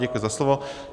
Děkuji za slovo.